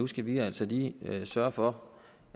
skal vi altså lige sørge for